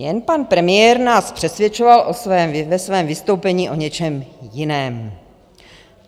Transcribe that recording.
Jen pan premiér nás přesvědčoval ve svém vystoupení o něčem jiném.